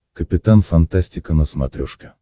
капитан фантастика на смотрешке